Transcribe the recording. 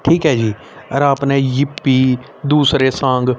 ठीक है जी और आपने यिप्पी दूसरे सॉन्ग --